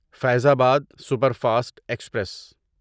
Faizabad superfast express